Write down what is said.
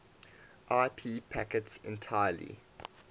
ip packets entirely